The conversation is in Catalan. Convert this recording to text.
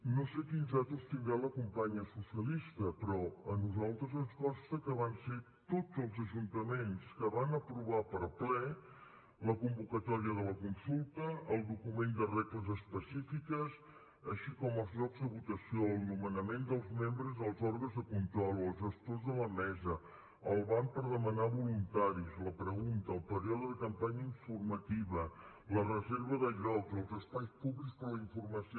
no sé quines dades tindrà la companya socialista però a nosaltres ens consta que van ser tots els ajuntaments que van aprovar per ple la convocatòria de la consulta el document de regles específiques així com els llocs de votació o el nomenament dels membres dels òrgans de control els gestors de la mesa el banc per demanar voluntaris la pregunta el període de la campanya informativa la reserva de llocs els espais públics per a la informació